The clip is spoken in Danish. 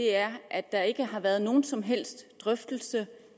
er at der ikke har været nogen som helst drøftelse